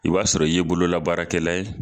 I b'a sɔrɔ i ye bololabaakɛla ye